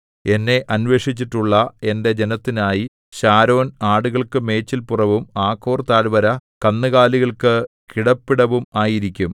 എന്നെ അന്വേഷിച്ചിട്ടുള്ള എന്റെ ജനത്തിനായി ശാരോൻ ആടുകൾക്കു മേച്ചിൽപുറവും ആഖോർ താഴ്‌വര കന്നുകാലികൾക്കു കിടപ്പിടവും ആയിരിക്കും